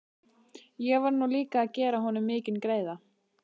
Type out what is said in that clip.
Ég var nú líka að gera honum mikinn greiða.